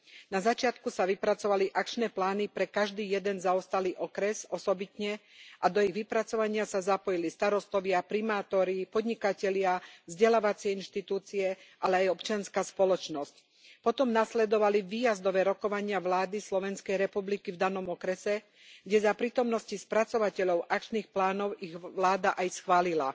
Na začiatku sa vypracovali akčné plány pre každý jeden zaostalý okres osobitne a do ich vypracovania sa zapojili starostovia, primátori, podnikatelia, vzdelávacie inštitúcie, ale aj občianska spoločnosť. Potom nasledovali výjazdové rokovania vlády SR v danom okrese, kde ich za prítomnosti spracovateľov akčných plánov vláda aj schválila.